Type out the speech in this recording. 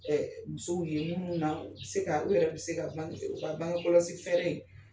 musow ye minnu na u bɛ se ka u yɛrɛ bɛ se bangekɔlɔsi fɛɛrɛ in.